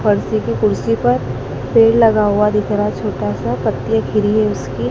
पत्रे की खुर्सी पर पेड़ लगा हुआ दिख रहा है छोटासा उसकी--